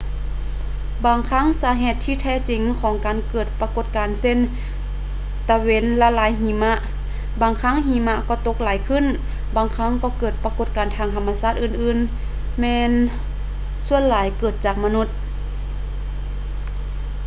ບາງຄັ້ງສາເຫດທີ່ແທ້ຈິງຂອງການເກີດປາກົດການເຊັ່ນ ຕາເວັນລະລາຍຫິມະ ບາງຄັ້ງຫິມະກໍຕົກຫຼາຍຂຶ້ນ ບາງຄັ້ງກໍເກີດປາກົດການທາງທຳມະຊາດອື່ນໆແມ່ນສ່ວນຫຼາຍເກີດຈາກມະນຸດ